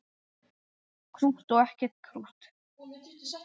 Krútt og ekki krútt.